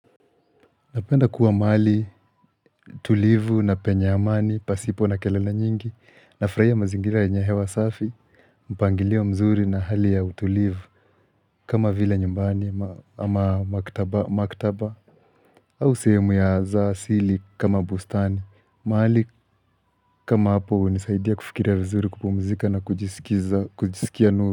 Napenda kuwa mahali, tulivu na penye amani, pasipo na kelele nyingi, nafurahia mazingira yenye hewa safi, mpangilio mzuri na hali ya utulivu, kama vile nyumbani ama maktaba, au sehemu za asili kama bustani, mahali kama hapo hunisaidia kufikiria vizuri kupumzika na kujisikia nuru.